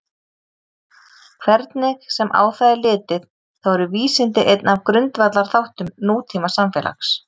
Hvernig sem á það er litið þá eru vísindi einn af grundvallarþáttum nútímasamfélags.